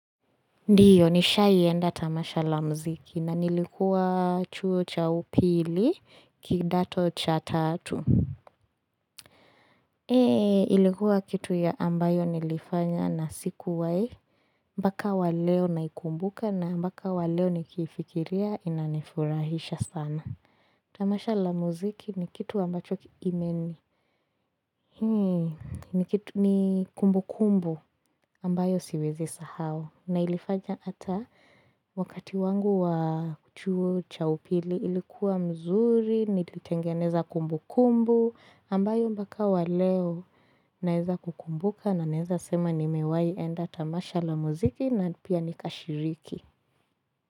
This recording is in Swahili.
Ndio nishaienda tamasha la muziki na nilikuwa chuo cha upili kidato cha tatu ilikuwa kitu ya ambayo nilifanya na sikuwai Mbaka waleo naikumbuka na mbaka waleo nikifikiria inanifurahisha sana Tamasha la muziki ni kitu ambacho kiimeni, ni kumbu kumbu ambayo siwezi sahau na ilifanya ata wakati wangu wa chuo cha upili ilikuwa mzuri, nilitengeneza kumbu kumbu ambayo mbaka waleo naeza kukumbuka na naeza sema ni mewai enda tamasha la muziki na pia nikashiriki.